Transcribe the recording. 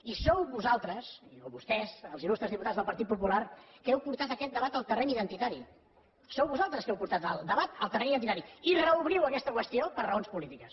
i sou vosaltres o vostès els il·lustres diputats del partit popular els qui heu portat aquest debat al terreny identitari sou vosaltres els qui heu portat el debat al terreny identitari i reobriu aquesta qüestió per raons polítiques